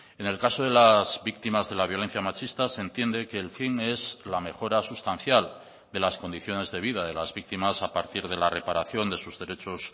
en el caso de las víctimas de la violencia machista se entiende que el fin es la mejora sustancial de las condiciones de vida de las víctimas a partir de la reparación de sus derechos